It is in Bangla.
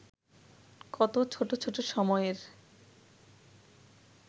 কত ছোট ছোট সময়ের